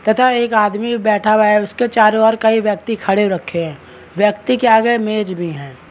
तथा एक आदमी बैठा हुआ है उसके चारों और कई व्यक्ति खड़े हो रखे हैं व्यक्ति के आगे मेज भी हैं।